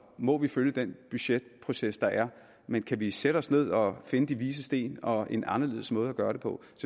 må vi følge den budgetproces der er men kan vi sætte os ned og finde de vises sten og en anderledes måde at gøre det på